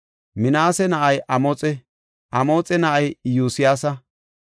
Minaase na7ay Amoxe; Amoxe na7ay Iyosyaasa.